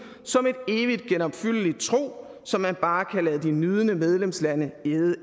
som et evigt genopfyldeligt trug som man bare kan lade de nydende medlemslande æde